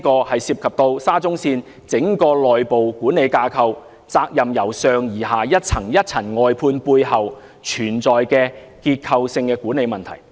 這涉及沙中線整個內部管理架構，責任由上而下層層外判的背後，存在結構性的管理問題。